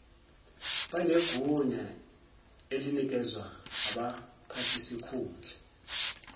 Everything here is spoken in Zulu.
banegunya elinikezwa abaphathisikhundla